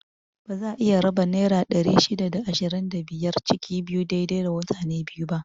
Baza a iya raba naira ɗari shida da ishirin da biyar ciki biyu dai dai wa mutane biyu ba